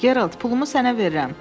Gerald, pulumu sənə verirəm.